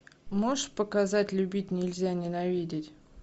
можешь показать любить нельзя ненавидеть